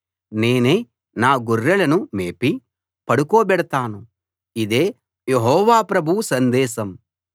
నేనే నా గొర్రెలను మేపి పడుకోబెడతాను ఇదే యెహోవా ప్రభువు సందేశం